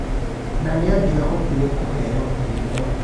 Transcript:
Na nĩangiahotire kũheo iheo.